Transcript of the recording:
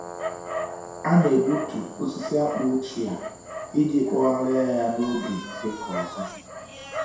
A na-egbutu osisi akpụ ochie iji kpọgharịa ya n’oge ịkọ ọzọ.